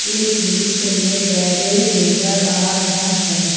इस दृश्य में गेरेज नजर आ रहा है।